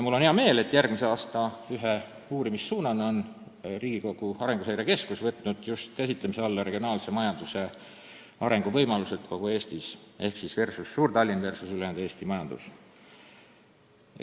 Mul on hea meel, et järgmise aasta ühe uurimissuunana on Riigikogu Arenguseire Keskus võtnud käsitlemise alla just regionaalse majanduse arengu võimalused kogu Eestis ehk suur-Tallinna majandus versus ülejäänud Eesti majandus.